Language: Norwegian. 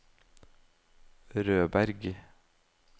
Rødberg